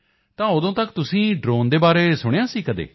ਤਾਂ ਉਦੋਂ ਤੱਕ ਤੁਸੀਂ ਡ੍ਰੋਨ ਦੇ ਬਾਰੇ ਸੁਣਿਆ ਸੀ ਕਦੇ